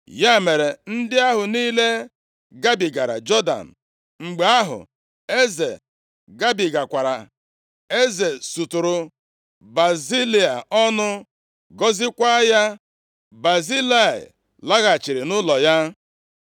Ya mere, ndị ahụ niile gabigara Jọdan, mgbe ahụ eze gabigakwara. Eze suturu Bazilai ọnụ, gọziekwa ya, Bazilai laghachiri nʼụlọ ya.